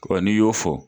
Wa n'i y'o fɔ